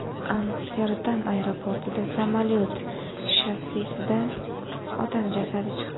Amsterdam aeroportida samolyot shassisidan odam jasadi chiqdi.